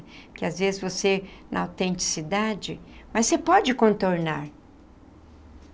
Porque às vezes você, na autenticidade... Mas você pode contornar.